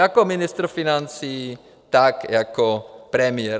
Jako ministr financí, tak jako premiér.